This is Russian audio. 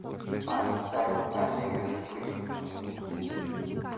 поставь олега скрипку